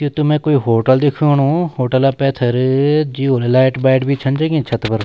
यू त मैं कोई होटल दिखेणु होटला पैथर-र-र जियून लैट वैट भी जगी छन छत पर।